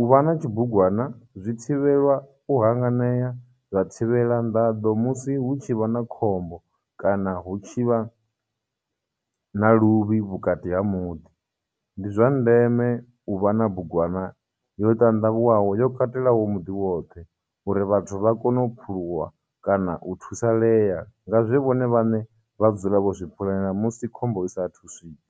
U vha na tshibugwana zwi thivhelwa u hanganea, zwa thivhela nḓaḓo musi hu tshi vha na khombo, kana hu tshivha na luvhi vhukati ha muḓi. Ndi zwa ndeme u vha na bugwana yo ṱanḓavhuwaho yo katelaho muḓi woṱhe, uri vhathu vha kone u phumuluwa kana u thusaḽeya nga zwe vhone vhaṋe vha dzule vho zwi pulana musi khombo i sa thu swika.